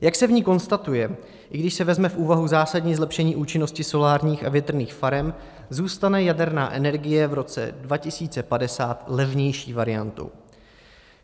Jak se v ní konstatuje, i když se vezme v úvahu zásadní zlepšení účinnosti solárních a větrných farem, zůstane jaderná energie v roce 2050 levnější variantou.